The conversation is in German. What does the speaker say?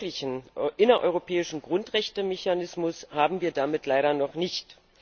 Einen wirklichen innereuropäischen Grundrechtemechanismus haben wir damit leider noch nicht.